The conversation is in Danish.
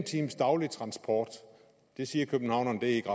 times daglig transport siger københavnerne er ikke